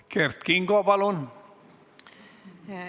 Kert Kingo, palun!